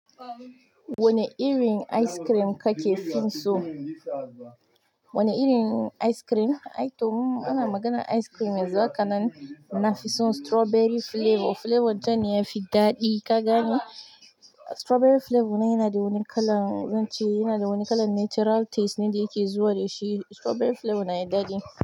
Wane irin ice cream kake fin so? Wane irin ice cream? Ai to ana maganan ice cream yanzu haka nan. Na fi son strawberry flavor. Flavor jannan ya fi daɗi ka gane. Strawberry flavor nan yana da wani kalan, zan ce yana da wani kalan natural taste ne da yake zuwa da shi. Strawberry flavor na da daɗi.